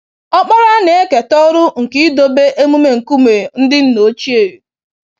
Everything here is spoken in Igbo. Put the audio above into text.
Ọkpara na-eketa ọrụ nke idobe emume nkume ndị nna ochie.